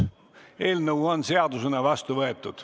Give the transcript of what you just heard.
Eelnõu on seadusena vastu võetud.